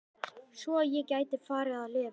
Svo ég gæti farið að lifa.